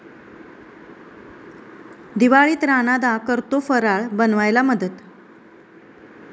दिवाळीत राणादा करतो फराळ बनवायला मदत!